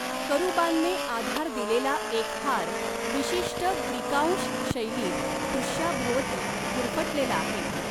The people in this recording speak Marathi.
करूबांने आधार दिलेला एक हार विशिष्ट ग्रीकांश शैलीत दृष्याभोवती गुरफटलेला आहे.